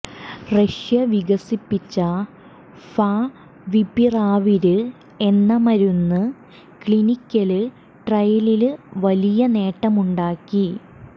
Russia വികസിപ്പിച്ച favipiravir എന്ന മരുന്ന് ക്ലിനിക്കല് ട്രയലില് വലിയ നേട്ടമുണ്ടാക്കി